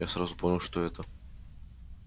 я сразу понял что это